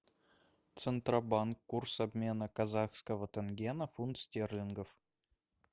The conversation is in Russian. центробанк курс обмена казахского тенге на фунт стерлингов